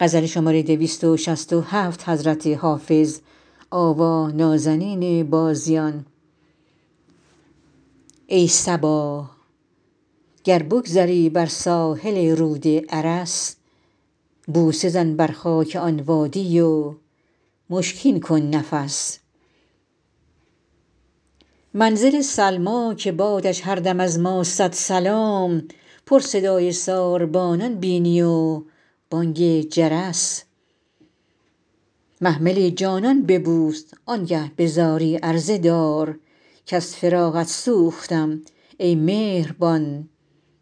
ای صبا گر بگذری بر ساحل رود ارس بوسه زن بر خاک آن وادی و مشکین کن نفس منزل سلمی که بادش هر دم از ما صد سلام پر صدای ساربانان بینی و بانگ جرس محمل جانان ببوس آن گه به زاری عرضه دار کز فراقت سوختم ای مهربان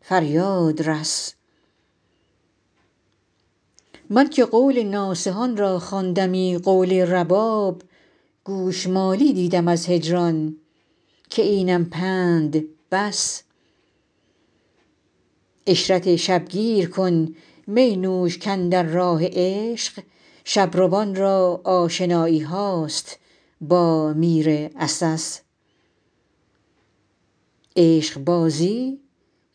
فریاد رس من که قول ناصحان را خواندمی قول رباب گوش مالی دیدم از هجران که اینم پند بس عشرت شب گیر کن می نوش کاندر راه عشق شب روان را آشنایی هاست با میر عسس عشق بازی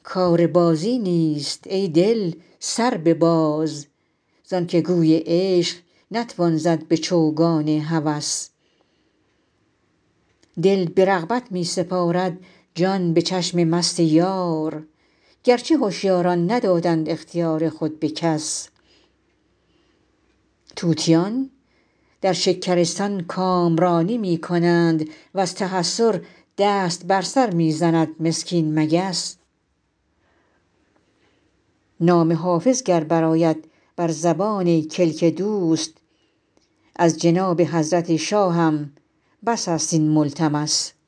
کار بازی نیست ای دل سر بباز زان که گوی عشق نتوان زد به چوگان هوس دل به رغبت می سپارد جان به چشم مست یار گر چه هشیاران ندادند اختیار خود به کس طوطیان در شکرستان کامرانی می کنند و از تحسر دست بر سر می زند مسکین مگس نام حافظ گر برآید بر زبان کلک دوست از جناب حضرت شاهم بس است این ملتمس